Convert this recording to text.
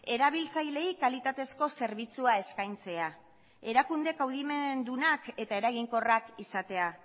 erabiltzaileei kalitatezko zerbitzua eskaintzea erakunde kaudimendunak eta eraginkorrak izatea